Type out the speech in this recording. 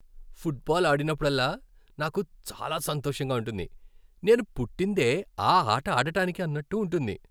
Football ఆడినప్పుడల్లా నాకు చాలా సంతోషంగా ఉంటుంది. నేను పుట్టిందే ఆ ఆట ఆడడానికి అన్నట్టు ఉంటుంది.